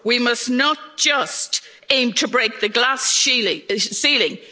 do more. We must not just aim to break the glass